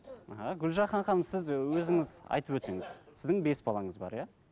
іхі гүлжахан ханым сіз өзіңіз айтып өтсеңіз сіздің бес балаңыз бар иә